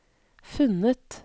funnet